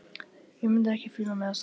Ég mundi ekki fíla mig á staðnum.